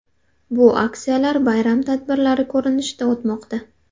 Bu aksiyalar bayram tadbirlari ko‘rinishida o‘tmoqda.